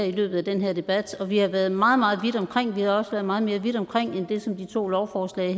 i løbet af den her debat og vi har været meget meget vidt omkring og vi har også været meget mere vidt omkring end det som de to lovforslag